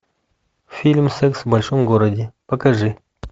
фильм секс в большом городе покажи